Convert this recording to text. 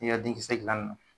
I ya denkisɛ gilanni na